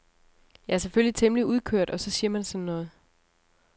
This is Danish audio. Jeg er selvfølgelig temmelig udkørt og så siger man sådan noget.